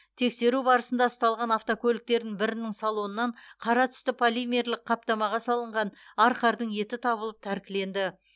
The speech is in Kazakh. тексеру барысында ұсталған автокөліктердің бірінің салонынан қара түсті полимерлік қаптамаға салынған арқардың еті табылып тәркіленді